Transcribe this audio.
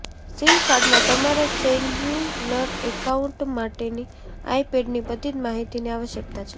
sim કાર્ડમાં તમારા cellular account માટેની આઈપેડની બધી જ માહિતીની આવશ્યકતા છે